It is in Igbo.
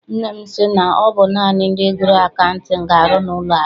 Nne m sị na ọ bụ naanị ndị gụrụ akaụtin ga arụ n'ụlọ akụ.